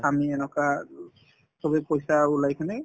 আমি এনেকুৱা উম চবে পইচা ওলাই কিনে